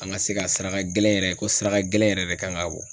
An ka se ka saraka gɛlɛn yɛrɛ ko saraka gɛlɛn yɛrɛ de kan ka bɔ.